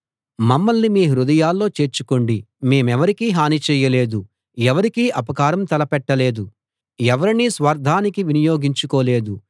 మమ్మల్ని మీ హృదయాల్లో చేర్చుకోండి మేమెవరికీ హాని చేయలేదు ఎవరికీ అపకారం తలపెట్టలేదు ఎవరినీ స్వార్థానికి వినియోగించుకోలేదు